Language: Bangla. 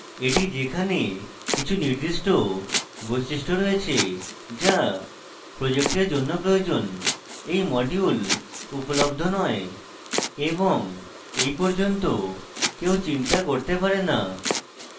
এটি যেখানে কিছু নির্দিষ্ট বৈশিষ্ট্য রয়েছে যা project জন্য প্রয়োজন এই module উপলব্ধ নয় এবং এই পর্যন্ত কেউ চিন্তা করতে পারে